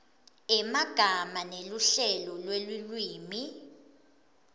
emagama neluhlelo lwelulwimi